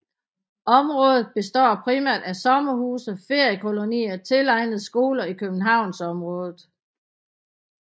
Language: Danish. Området består primært af sommerhuse og feriekolonier tilegnet skoler i Københavnsområdet